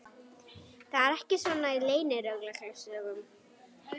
Það er ekki svona í leynilögreglusögum.